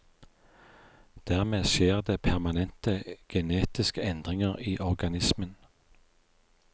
Dermed skjer det permanente genetiske endringer i organismen.